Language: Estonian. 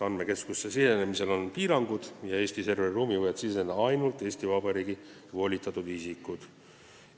Andmekeskusesse sisenemisel on piirangud ja Eesti serveriruumi võivad siseneda ainult Eesti Vabariigi volitatud isikud.